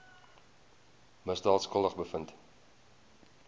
misdaad skuldig bevind